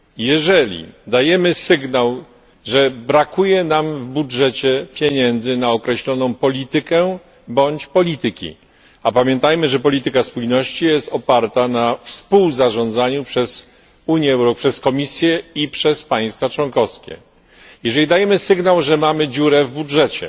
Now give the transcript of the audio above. Jeżeli dajemy sygnał, że brakuje nam w budżecie pieniędzy na określoną politykę bądź polityki, a pamiętajmy, że polityka spójności jest oparta na współzarządzaniu przez Komisję i przez państwa członkowskie jeżeli dajemy sygnał, że mamy dziurę w budżecie,